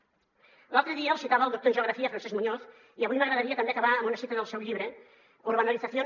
l’altre dia els citava el doctor en geografia francesc muñoz i avui m’agradaria també acabar amb una cita del seu llibre urbanización